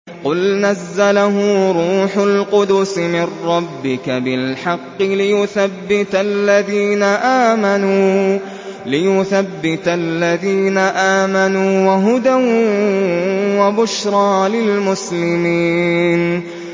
قُلْ نَزَّلَهُ رُوحُ الْقُدُسِ مِن رَّبِّكَ بِالْحَقِّ لِيُثَبِّتَ الَّذِينَ آمَنُوا وَهُدًى وَبُشْرَىٰ لِلْمُسْلِمِينَ